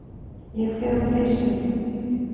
Ég fer úr peysunni.